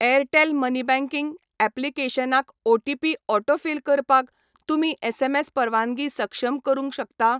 Airtel money banking ऍप्लिकेशनाक OTP autofill करपाक तुमी एसएमएस परवानगी सक्षम करूंक शकता?